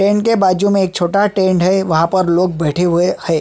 Tent के बाज़ू में एक छोटा टेंट है वहाँ पर लोग बैठे हुए है।